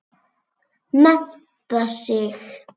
Mennta sig.